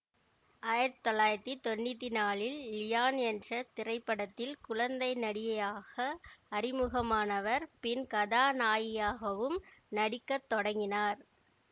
ஆயிரத்தி தொள்ளாயிரத்தி தொன்னூத்தி நாலில் லியான் என்ற திரைப்படத்தில் குழந்தை நடிகையாக அறிமுகமானவர் பின் கதாநாயகியாகவும் நடிக்க தொடங்கினார்